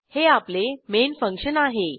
हे आपले main function आहे